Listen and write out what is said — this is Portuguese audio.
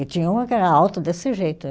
E tinha uma que era alta desse jeito.